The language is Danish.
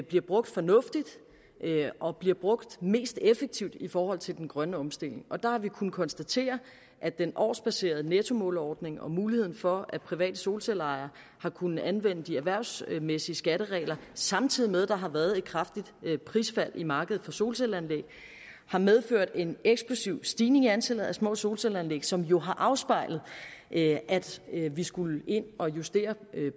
bliver brugt fornuftigt og bliver brugt mest effektivt i forhold til den grønne omstilling og der har vi kunnet konstatere at den årsbaserede nettomåleordning og muligheden for at private solcelleejere har kunnet anvende de erhvervsmæssige skatteregler samtidig med at der har været et kraftigt prisfald i markedet for solcelleanlæg har medført en eksplosiv stigning i antallet af små solcelleanlæg som jo har afspejlet at vi skulle ind at justere